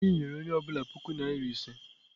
Igwe anyi nyere onye obula puku naira ise.